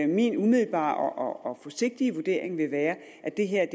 min umiddelbare og forsigtige vurdering vil være at det her